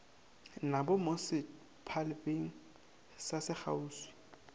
nabo mo setphabeng ka sekgauswi